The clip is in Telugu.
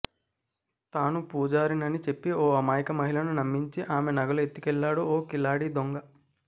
తాను పూజారినని చెప్పి ఓ అమాయక మహిళను నమ్మించి ఆమె నగలు ఎత్తుకెళ్లాడు ఓ కిలాడీ దొంగ